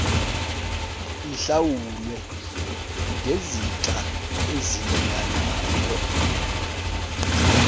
ihlawulwe ngezixa ezilinganayo